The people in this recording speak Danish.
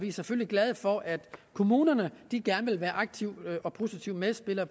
er selvfølgelig glade for at kommunerne gerne vil være aktive og positive medspillere